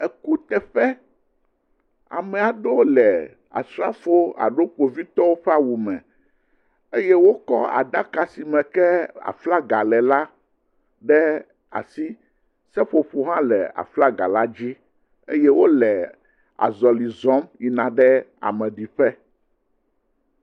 Ekuteƒe. ame aewo le asrafowo alo kpovitɔwo ƒe awu me eye wokɔ aɖaka si me ke aflaga le la ɖe asi. Seƒoƒo hã le aflaga la dzi eye wo le azɔli zɔm yina ɖe ameɖiƒe.